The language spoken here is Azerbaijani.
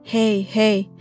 Hey, hey!